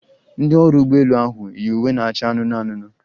Ndị ọrụ ụgbọ elu ahụ yi uwe na-acha anụnụ anụnụ